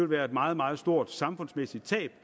være et meget meget stort samfundsmæssigt tab